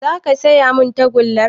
Za ka siya min tagullar?